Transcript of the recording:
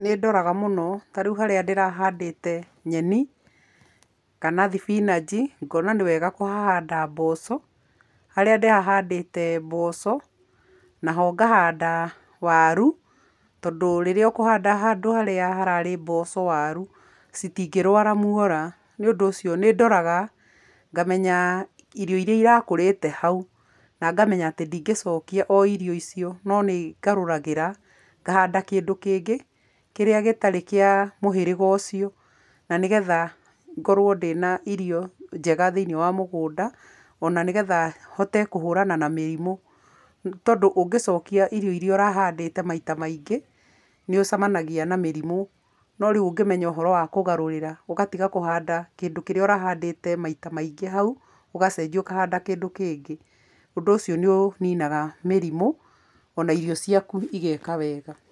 Nĩndoraga mũno, ta rĩu harĩa ndĩrahandĩte nyeni, kana thibinanji, ngona nĩ wega kũhahanda mboco, harĩa ndĩrahandĩte mboco, naho ngahanda waru, tondũ rĩrĩa ũkũhanda handũ harĩa harari mboco waru, citingĩrwara muora, nĩ ũndũ ũcio nĩ ndoraga, ngamenya irio iria irakũrĩte hau, na ngamenya atĩ ndingĩcokia o irio icio, no nĩ ngarũragĩra, ngahanda kĩndũ kĩngĩ kĩrĩa gĩtarĩ kĩa mũhĩrĩga ucio na nĩ getha ngorwo ndĩna irio njega thĩ-inĩ wa mũgũnda, o na nĩ getha, hote kũhũrana na mĩrimũ, nĩ tondũ ũngĩcokia irio iria ũrahandĩte maita maingĩ, nĩ ũcemanagia na mĩrimũ, no rĩu ũngĩmenya ũhoro wa kũgarurĩra, ũgatiga kũhanda kĩndũ kĩrĩa ũrahandĩte maita maingĩ hau, ũgacenjia ũkahanda kĩndũ kĩngĩ, ũndũ ũcio nĩ ũninaga mĩrimũ, o na irio ciaku igeka wega.